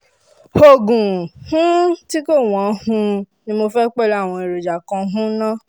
oògùn um tí kò wọ́n um ni mo fẹ́ pẹ̀lú àwọn èròjà kan um náà